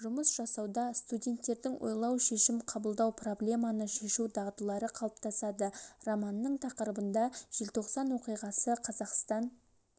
жұмыс жасауда студенттердің ойлау шешім қабылдау проблеманы шешу дағдылары қалыптасады романның тақырыбында желтоқсан оқиғасы қазақстан